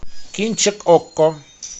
кинчик окко